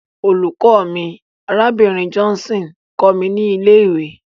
Olùkọ́ mi, Arábìnrin Johnson, kọ́ mi ní ilé-ìwé.